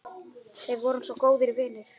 Við vorum svo góðir vinir.